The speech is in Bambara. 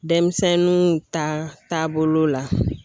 Denmisɛnninw ta taabolow la